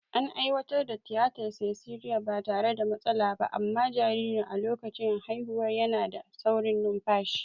An aiwatar da tiyatar siseriyan ba tare da matsala ba, amma jaririn a lokacin haihuwa yana da saurin numfashi.